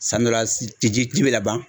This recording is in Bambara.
San dɔ la ci bɛ ka ban